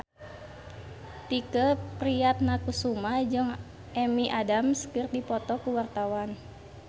Tike Priatnakusuma jeung Amy Adams keur dipoto ku wartawan